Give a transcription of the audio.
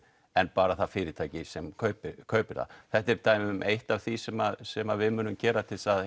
en bara það fyrirtæki sem kaupir kaupir það þetta er eitt af því sem sem við munum gera til að